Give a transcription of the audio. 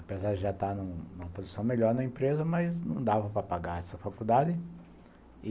Apesar de já estar numa posição melhor na empresa, mas não dava para pagar essa faculdade.